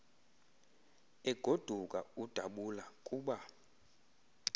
egoduka udabula kuba